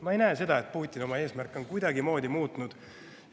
Ma ei näe, et Putin oma eesmärke on kuidagimoodi muutnud.